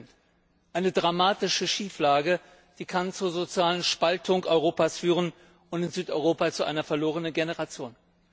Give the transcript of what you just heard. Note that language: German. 8 Eine dramatische Schieflage, die zur sozialen Spaltung Europas führen kann und in Südeuropa zu einer verlorenen Generation.